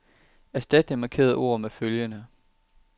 Erstat det markerede ord med følgende.